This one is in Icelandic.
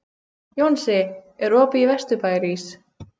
Jónsi, er opið í Vesturbæjarís?